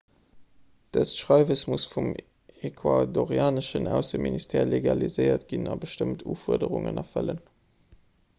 dëst schreiwes muss vum ecuadorianeschen ausseministère legaliséiert ginn a bestëmmt ufuerderungen erfëllen